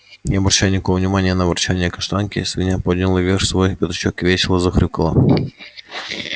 не обращая никакого внимания на ворчанье каштанки свинья подняла вверх свой пятачок и весело захрюкала